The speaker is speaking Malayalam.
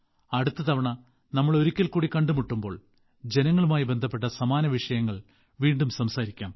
അടുത്ത തവണ നമ്മൾ ഒരിക്കൽകൂടി കണ്ടുമുട്ടുമ്പോൾ ജനങ്ങളുമായി ബന്ധപ്പെട്ട സമാന വിഷയങ്ങൾ വീണ്ടും സംസാരിക്കാം